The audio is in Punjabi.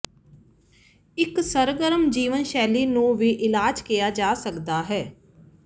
ਇੱਕ ਸਰਗਰਮ ਜੀਵਨ ਸ਼ੈਲੀ ਨੂੰ ਵੀ ਇਲਾਜ ਕਿਹਾ ਜਾ ਸਕਦਾ ਹੈ